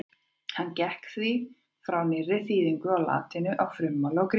Hann gekk því frá nýrri þýðingu á latínu úr frummálinu grísku.